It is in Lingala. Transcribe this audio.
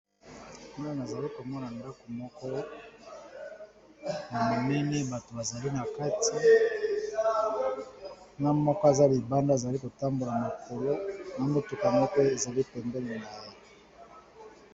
Kuna na zali ko mona mdaku moko ya monene, bato ba zali na kati, na moko aza libanda, azali ko tambola makolo, na motuka moko ezali pembeli na ye .